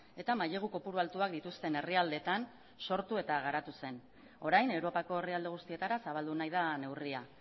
eta mailegu kopuru altuak dituzten herrialdetan sortu eta garatu zen orain europako herrialde guztietara zabaldu nahi da neurria